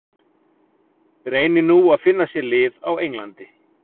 Reynir nú að finna sér lið á Englandi.